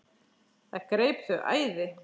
Það greip þau æði.